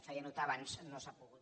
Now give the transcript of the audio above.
feia notar abans no s’ha pogut